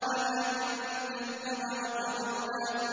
وَلَٰكِن كَذَّبَ وَتَوَلَّىٰ